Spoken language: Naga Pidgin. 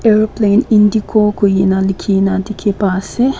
aeroplane indigo kurikaena likhina dikhi pa ase.